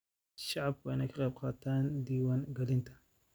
Shacabku waa in ay ka qayb qaataan diwaan galinta.